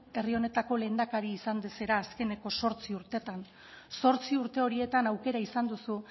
herri honetako lehendakaria izan zara azkeneko zortzi urtetan zortzi urte horietan aukera izan duzu